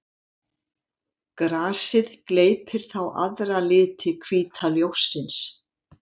Grasið gleypir þá aðra liti hvíta ljóssins.